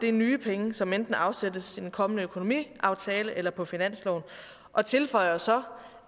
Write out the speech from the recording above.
er nye penge som enten afsættes i den kommende økonomiaftale eller på finansloven og tilføjer så